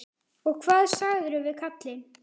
Og hvað sagðirðu við kallinn?